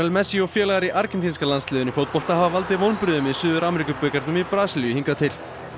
messi og félagar í argentínska landsliðinu í fótbolta hafa valdið vonbrigðum í Suður í Brasilíu hingað til